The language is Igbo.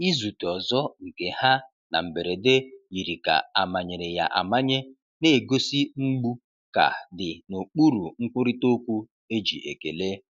Izute ọzọ nke ha na mberede yiri ka amanyere ya amanye, na-egosi mgbu ka dị n’okpuru nkwurịta okwu e ji ekele.